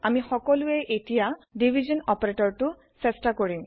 আমি সকলোয়ে এটিয়া হৰন অপাৰেটৰটো চেষ্টা কৰিম